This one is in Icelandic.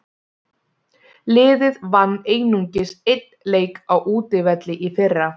Liðið vann einungis einn leik á útivelli í fyrra.